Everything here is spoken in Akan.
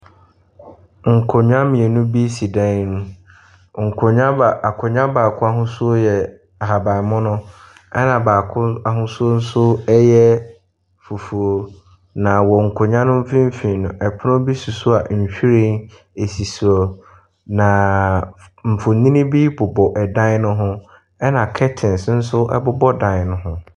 Nkonnwa mmienu bi si dan mu. Nkonnwa nkonnwa baako nso yɛ ahabanmono. Ɛna baako nso ahosuo yɛ fufuo. Na wɔ nkonnwa no mfimfin no pono si hɔ a nhwiren so. Na mfonyini bobɔ dan ho na kɛten nso bobɔ dan no ho.